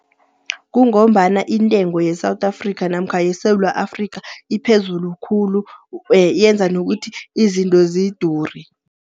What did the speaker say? Kungombana intengo ye-South Africa namkha yeSewula Afrikha iphezulu khulu, yenza nokuthi izinto zidure.